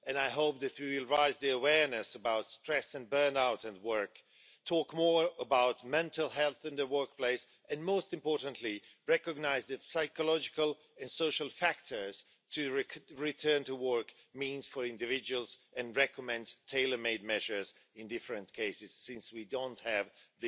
I hope that we will raise awareness about stress and burnout at work, talk more about mental health in the workplace and, most importantly, recognise the psychological and social factors that a return to work entails for individuals, and recommend tailormade measures in different cases, since we don't have one